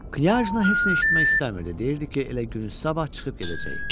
Knyajna heç nə eşitmək istəmirdi, deyirdi ki, elə günün sabah çıxıb gedəcək.